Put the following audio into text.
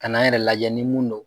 Kan'an yɛrɛ lajɛ ni mun don